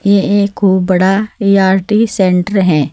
ये एक खूब बड़ा ए_आर_टी सेंटर है।